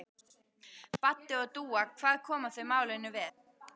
Baddi og Dúa, hvað koma þau málinu við?